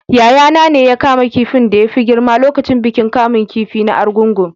Yayana ne ya kama kifin da ya fi girma lokacin bikin kamun kifi na argungu